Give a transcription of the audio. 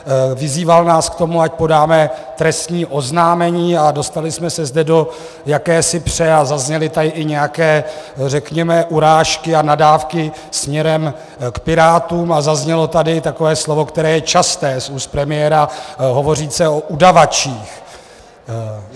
Vyzýval nás k tomu, ať podáme trestní oznámení, a dostali jsme se zde do jakési pře a zazněly tady i nějaké, řekněme, urážky a nadávky směrem k Pirátům a zaznělo tady takové slovo, které je časté z úst premiéra - hovořil o udavačích.